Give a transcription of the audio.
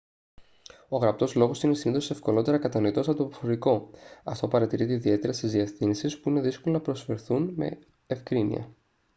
ο γραπτός λόγος είναι συνήθως ευκολότερα κατανοητός από τον προφορικό αυτό παρατηρείται ιδιαίτερα σε διευθύνσεις που είναι δύσκολο να προφερθούν με ευκρίνεια